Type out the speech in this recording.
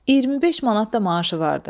25 manat da maaşı vardı.